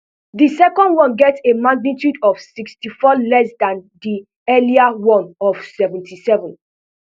di second one get a magnitude of sixty-four less dan di earlier one of seventy-seven